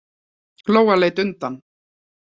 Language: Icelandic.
Lóa leit undan.